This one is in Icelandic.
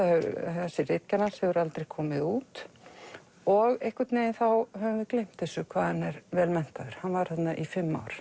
þessi ritgerð hans hefur aldrei komið út og einhvern veginn þá höfum við gleymt þessu hvað hann er vel menntaður hann var þarna í fimm ár